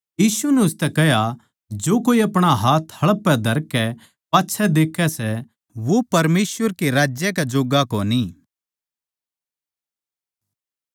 यीशु नै उसतै कह्या जो कोए अपणा हाथ हळ पै धरकै पाच्छै देक्खै सै वो परमेसवर के राज्य कै जोग्गा कोनी